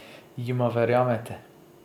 Jima verjamete?